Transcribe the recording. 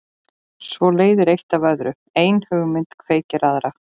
Svo leiðir eitt af öðru, ein hugmynd kveikir aðra.